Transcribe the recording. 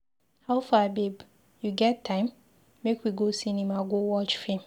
Howfar babe, you get time? Make we go cinema go watch film.